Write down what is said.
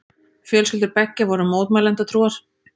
Fjölskyldur beggja voru mótmælendatrúar.